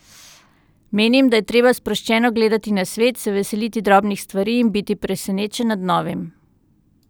Menim, da je treba sproščeno gledati na svet, se veseliti drobnih stvari in biti presenečen nad novim.